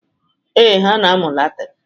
Ee, ha na-amụ Latin.